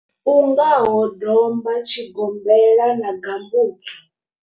U ngaho domba, tshigombela na gambutsu.